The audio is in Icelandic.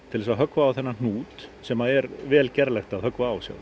til þess að höggva á þennan hnút sem er vel gerlegt að höggva á